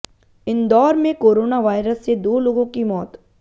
इंदौर में corona virus से दो लोगों की मौत